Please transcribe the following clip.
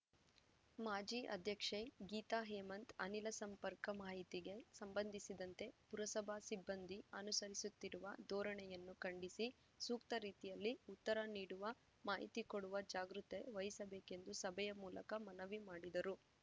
ಮಾಜಿ ಅಧ್ಯಕ್ಷೆ ಗೀತಾಹೇಮಂತ್‌ ಅನಿಲಸಂಪರ್ಕ ಮಾಹಿತಿಗೆ ಸಂಬಂಧಿಸಿದಂತೆ ಪುರಸಭಾ ಸಿಬ್ಬಂದಿ ಅನುಸರಿಸುತ್ತಿರುವ ದೋರಣೆಯನ್ನು ಖಂಡಿಸಿ ಸೂಕ್ತರೀತಿಯಲ್ಲಿ ಉತ್ತರ ನೀಡುವ ಮಾಹಿತಿಕೊಡುವ ಜಾಗೃತೆ ವಹಿಸಬೇಕೆಂದು ಸಭೆಯ ಮೂಲಕ ಮನವಿಮಾಡಿದರು